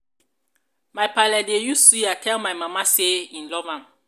my paale dey use suya tell my mama sey e love am.